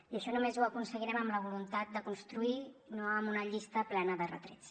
i això només ho aconseguirem amb la voluntat de construir no amb una llista plena de retrets